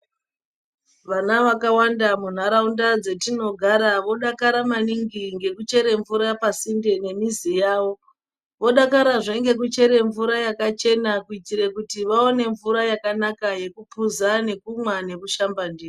Vana vakawanda mu nharaunda dzetino gara vodakara maningi ngeku chere mvura pasinde ne mizi yawo vodakara zve ngeku chere mvura yakachena kuitire kuti vaone mvura yakanaka yeku puza nekumwa neku shamba ndiyo.